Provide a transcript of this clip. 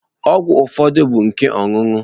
Ọgwụ ụfọdụ bụ nke ọṅụṅụ.